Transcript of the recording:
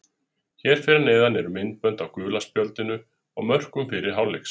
Hér fyrir neðan eru myndbönd af gula spjaldinu og mörkum fyrri hálfleiksins.